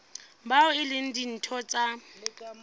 bao e leng ditho tsa